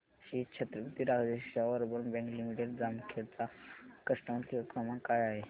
Shri Chhatrapati Rajashri Shahu urban bank limited Jamkhed चा customer care क्रमांक काय आहे